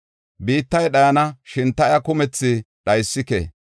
“Biittay dhayana; shin ta iya kumethi dhaysike.